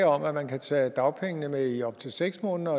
om at man kan tage dagpengene med i op til seks måneder